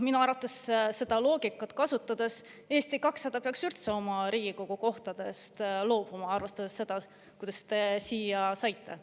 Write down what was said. Minu arvates seda loogikat kasutades Eesti 200 peaks üldse oma Riigikogu kohtadest loobuma, arvestades seda, kuidas te siia saite.